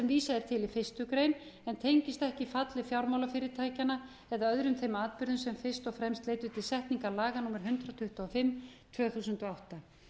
vísað er til í fyrstu grein en tengist ekki falli fjármálafyrirtækjanna eða öðrum þeim atburðum sem fyrst og fremst leiddu til setningar laga númer hundrað tuttugu og fimm tvö þúsund og átta